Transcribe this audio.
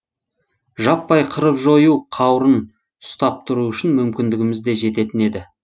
жаппай қырып жою қаурын ұстап тұру үшін мүмкіндігіміз де жететін еді